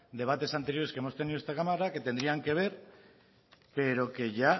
debates anteriores que hemos tenido en esta cámara que tendrían que ver pero que ya